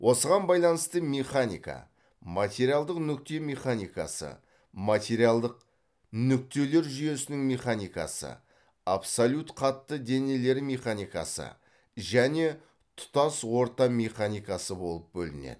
осыған байланысты механика материалдық нүкте механикасы материалдық нүктелер жүйесінің механикасы абсолют қатты денелер механикасы және тұтас орта механикасы болып бөлінеді